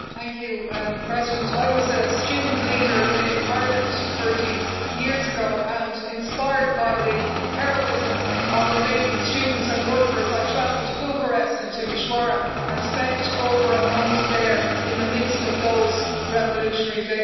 Madam President, I was a student leader in Ireland 30 years ago and, inspired by the heroism of Romanian students and workers, I travelled to Bucharest and Timișoara and spent over a month there in the midst of those revolutionary days.